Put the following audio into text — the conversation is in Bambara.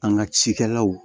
An ka cikɛlaw